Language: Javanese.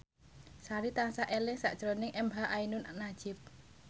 Sari tansah eling sakjroning emha ainun nadjib